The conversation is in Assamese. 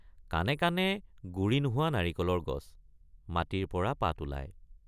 কাণে কাণে গুৰি নোহোৱা নাৰিকলৰ গছ —মাটিৰ পৰা পাত ওলায়।